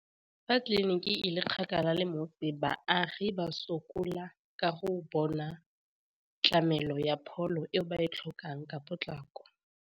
Fa tleliniki e le kgakala le mo be baagi ba sokola ka go bona tlamelo ya pholo eo ba e tlhokang ka potlako.